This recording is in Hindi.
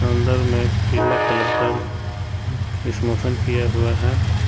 अन्दर में पिला कलर का सिमोशन किया हुआ है।